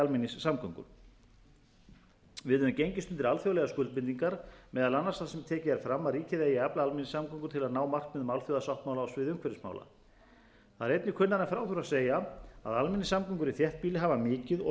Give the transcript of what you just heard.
almenningssamgöngur við höfum gengist undir alþjóðlegar skuldbindingar meðal annars þar sem tekið er fram að ríkið eigi að efla almenningssamgöngur til að ná markmiðum alþjóðasáttmála á sviði umhverfismála það er einnig kunnara en frá þurfi að segja að almenningssamgöngur í þéttbýli hafa mikið og raunar